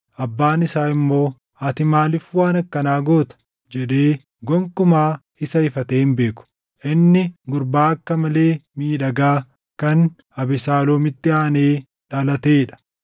Abbaan isaa immoo, “Ati maaliif waan akkanaa goota?” jedhee gonkumaa isa ifatee hin beeku. Inni gurbaa akka malee miidhagaa kan Abesaaloomitti aanee dhalatee dha.